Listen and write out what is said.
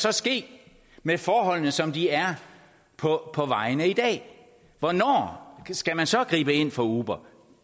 så ske med forholdene som de er på vejene i dag hvornår skal man så gribe ind over for uber